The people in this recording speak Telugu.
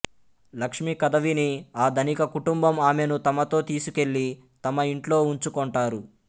లక్ష్మి కథ విని ఆ ధనిక కుటుంబం ఆమెను తమతో తీసుకెళ్ళి తమ ఇంట్లో ఉంచుకొంటారు